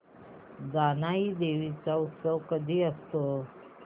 जानाई देवी चा उत्सव कधी असतो